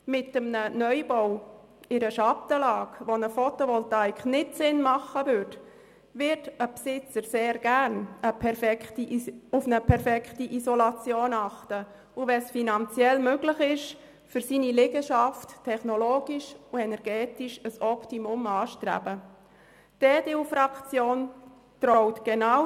Mit einem Neubau in einer Schattenlage, wo eine Photovoltaik keinen Sinn machen würde, wird ein Besitzer sehr gerne auf eine perfekte Isolation achten und für seine Liegenschaft technologisch und energetisch ein Optimum anstreben, wenn es finanziell möglich ist.